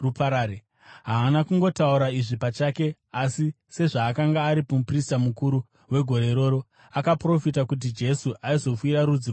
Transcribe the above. Haana kungotaura izvi pachake, asi sezvaakanga ari muprista mukuru wegore iroro, akaprofita kuti Jesu aizofira rudzi rwavaJudha,